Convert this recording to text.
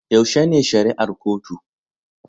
Yaushe ne shari'ar kotu